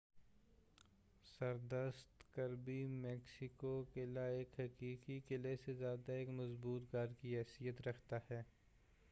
سردست Kirby Muxloe قلعہ ایک حقیقی قلعے سے زیادہ ایک مضبوط گھر کی حیثیت رکھتا ہے